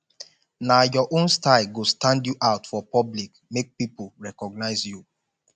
nah your own style go stand you out for public make pipo recognize you